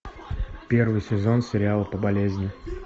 первый сезон сериала по болезни